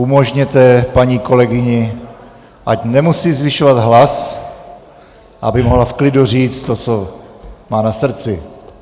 Umožněte paní kolegyni, ať nemusí zvyšovat hlas, aby mohla v klidu říct to, co má na srdci.